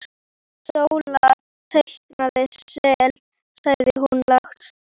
Sóla teikna sel, sagði hún lágt.